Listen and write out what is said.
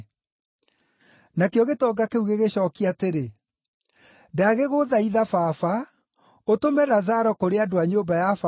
“Nakĩo gĩtonga kĩu gĩgĩcookia atĩrĩ, ‘Ndagĩgũthaitha, baba, ũtũme Lazaro kũrĩ andũ a nyũmba ya baba,